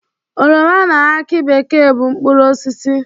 Oroma na akị bekee bụ mkpụrụosisi.